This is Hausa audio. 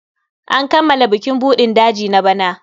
An kammala bukin buɗin daji na bana.